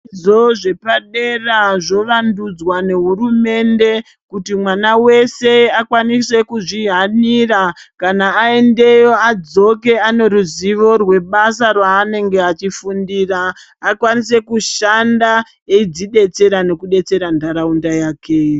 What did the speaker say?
Zvo zvepadera zvowandudzwa nehurumende kuti mwana wese akwanise kuzvihanira kana aendeyo adzoke ane ruziwo rwebasa raanenge achifundira akwanise kushanda eidzidetaera nekudetsera ntaraunda yake.